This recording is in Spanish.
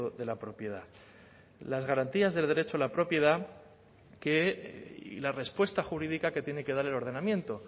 de la propiedad las garantías del derecho a la propiedad que y la respuesta jurídica que tiene que dar el ordenamiento